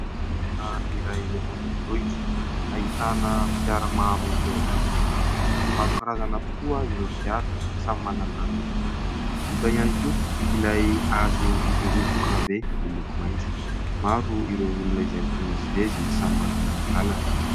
Toerana iray ato an-drenivohitra ahitana fiara maro eo am-pijanonana, maro karazana tokoa ireo fiara samy manana ny lokony hita ihany koa ilay hazo midoroboka be miloko maitso. Maro ireo olona izay mifamezivezy samy manana ny lalany.